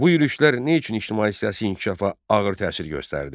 Bu yürüşlər nə üçün ictimai-siyasi inkişafa ağır təsir göstərdi?